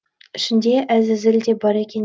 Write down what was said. ішінде әзәзіл де бар екен